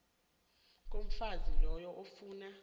komfazi loyo efuna